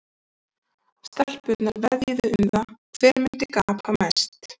Stelpurnar veðjuðu um það hver myndi gapa mest.